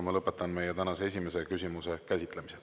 Ma lõpetan meie tänase esimese küsimuse käsitlemise.